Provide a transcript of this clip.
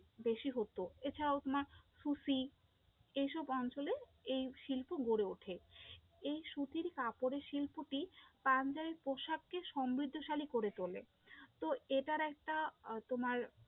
বেশি হতো, এছাড়াও তোমার সুতি, এই সব অঞ্চলে এই শিল্প গড়ে ওঠে, এই সুতির কাপড়ের শিল্পটি পাঞ্জাবি পোশাককে সমৃদ্ধশালী করে তোলে, তো এটার একটা আহ তোমার